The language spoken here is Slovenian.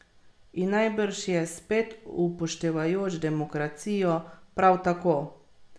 In najbrž je, spet upoštevajoč demokracijo, prav tako.